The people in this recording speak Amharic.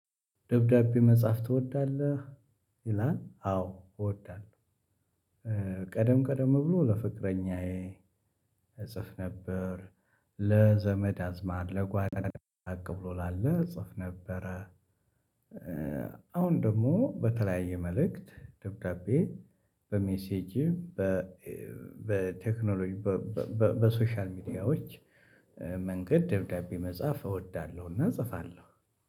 ደብዳቤ መጻፍ ትወዳለህ? ይላል አዎ እወዳለሁ። ቀደም ቀደም ብሎ ለፍቅረኛዬ እጽፍ ነበር። ለዘመድ አዝማድ ለጓደኛ ራቅ ብሎ ላለ እጽፍ ነበረ። አሁን ደግሞ በተለያየ መልእክት ደብዳቤ በሜሴጅ። በቴክኖሎጂ በሶሻል ሚዲያዎች መንገድ ደብዳቤ መጻፍ እወዳለሁና እጽፋለሁ።